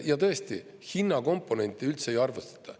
Ja tõesti, hinna komponenti üldse ei arvestata.